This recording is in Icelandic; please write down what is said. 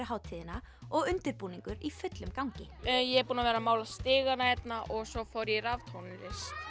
hátíðina og undirbúningur í fullum gangi ég er búin að vera að mála stigana hérna og svo fór ég í raftónlist